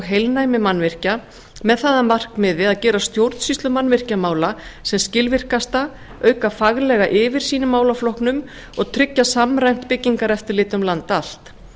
heilnæmi mannvirkja með það að markmiði að gera stjórnsýslu mannvirkjamála sem skilvirkasta auka faglega yfirsýn í málaflokknum og tryggja samræmt byggingareftirlit um land allt